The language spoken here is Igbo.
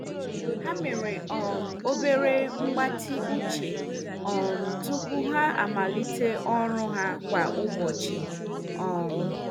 Ha mere um obere mgbatị uche um tupu ha amalite ọrụ ha kwa ụbọchị. um